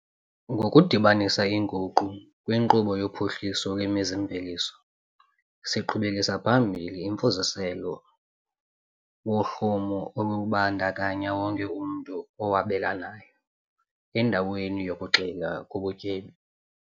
Ngokudibanisa inguqu kwinkqubo yophuhliso lwemizi-mveliso, siqhubelisa phambili umfuziselo wohlumo olubandakanya wonke umntu owabelanayo, endaweni yokugxila kubutyebi.